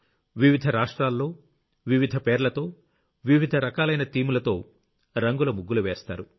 వివిధ రాష్ట్రాల్లో వివధ పేర్లతో వివిధ రకాలైన థీమ్ లతో రంగుల ముగ్గులు వేస్తారు